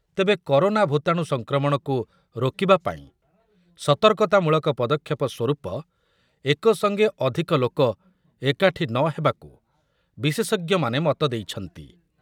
ତେବେ କରୋନା ଭୂତାଣୁ ସଂକ୍ରମଣକୁ ରୋକିବାପାଇଁ ସତର୍କତାମୂଳକ ପଦକ୍ଷେପସ୍ୱରୂପ ଏକସଙ୍ଗେ ଅଧିକ ଲୋକ ଏକାଠି ନ ହେବାକୁ ବିଶେଷଜ୍ଞମାନେ ମତ ଦେଇଛନ୍ତି ।